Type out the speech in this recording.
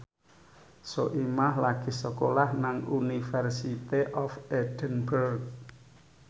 Soimah lagi sekolah nang University of Edinburgh